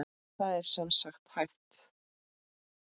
Það er sem sagt hægt.